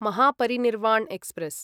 Mahaparinirvan express